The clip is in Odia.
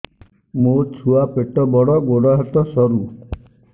ମୋ ଛୁଆ ପେଟ ବଡ଼ ଗୋଡ଼ ହାତ ସରୁ